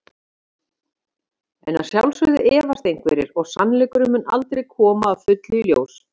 En að sjálfsögðu efast einhverjir og sannleikurinn mun aldrei koma að fullu í ljós.